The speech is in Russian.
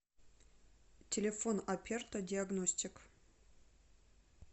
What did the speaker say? телефон аперто диагностик